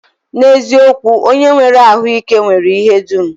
N'eziokwu, onye nwere ahụike nwere ihe dum